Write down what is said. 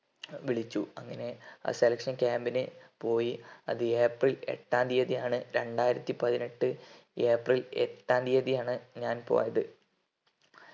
വിളിച്ചു അങ്ങനെ ആ selection camb നു പോയി അത് ഏപ്രിൽ എട്ടാം തീയതി ആണ് രണ്ടായിരത്തി പതിനെട്ട് ഏപ്രിൽ എട്ടാം തീയതി ആണ് ഞാൻ പോയത്